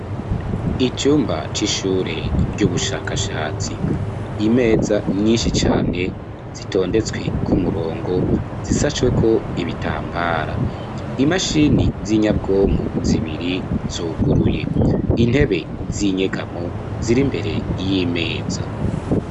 Icumba c'ishure, ry'ubushakashatsi; imeza nyinshi cane, zitondetswe ku murongo, zisashweko ibitambara, imashini z'inyabwonko zibiri, zuguruye; intebe z'inyegamo, ziri imbere y'imeza.